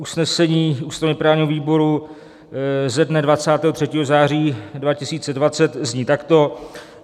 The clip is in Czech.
Usnesení ústavně-právního výboru ze dne 23. září 2020 zní takto: